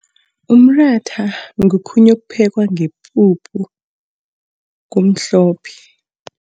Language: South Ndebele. Umratha ngokhunye okuphekwa ngepuphu kumhlophe.